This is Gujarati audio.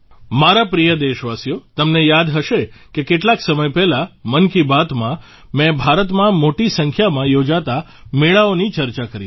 મારા પ્રિય દેશવાસીઓ તમને યાદ હશે કે કેટલાક સમય પહેલાં મન કી બાતમાં મે ભારતમાં મોટી સંખ્યામાં યોજાતા મેળાઓની ચર્ચા કરી હતી